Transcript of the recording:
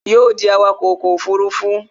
Yóò ó dí awakọ̀ ọkọ̀ òfurufú